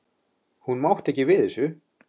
Hún mátti ekki við þessu.